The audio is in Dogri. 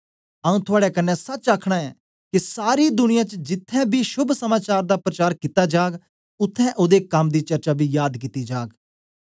आऊँ थुआड़े कन्ने सच आखना ऐ के सारी दुनिया च जिथें बी शोभ समाचार दा प्रचार कित्ता जाग उत्थें ओदे कम दी चर्चा बी याद कित्ती जाग